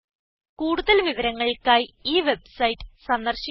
കൂടുതൽ വിവരങ്ങൾക്കായി ഈ വെബ്സൈറ്റ് സന്ദർശിക്കുക